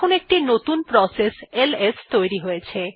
এখন একটি নতুন প্রসেস এলএস তৈরি হয়ছে